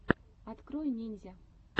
открой ниндзя